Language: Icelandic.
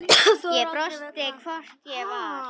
Ég brosti, hvort ég var!